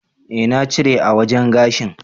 Eh na cire a wajen gashin.